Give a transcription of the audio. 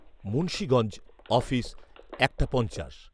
Munshiganj, office একটা পঞ্চাশ